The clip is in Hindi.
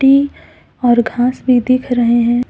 और घास भी दिख रहे हैं।